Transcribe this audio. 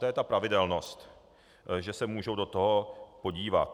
To je ta pravidelnost, že se můžou do toho podívat.